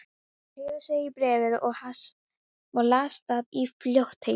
Hann teygði sig í bréfið og las það í fljótheitum.